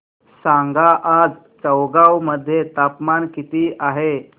सांगा आज चौगाव मध्ये तापमान किता आहे